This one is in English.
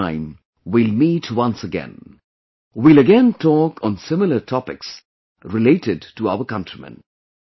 Next time we will meet once again... we will again talk on similar topics related to our countrymen